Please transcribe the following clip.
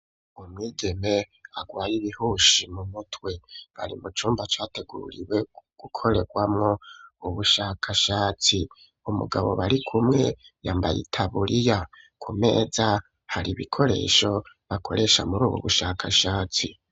Umwigeme arwaye ibihushi mu mutwe. Ari mu cumba categuriwe gukorerwamwo ubushakashatsi. Umugabo bari kumwe yambaye itaburiya. Ku meza har'ibikoresho bakoresha, muri ubu bushakashatsi.